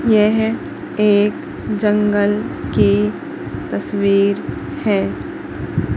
यह एक जंगल की तस्वीर है।